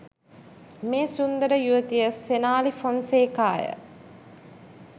මේ සුන්දර යුවතිය සෙනාලී ෆොන්සේකාය